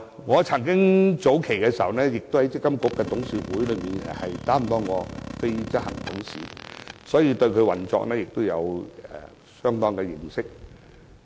我曾經出任積金局董事會的非執行董事，所以，對積金局的運作有相當認識。